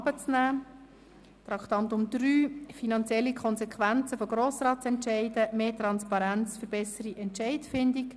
Es geht um die finanziellen Konsequenzen von Grossratsentscheiden und um mehr Transparenz für bessere Entscheidfindung.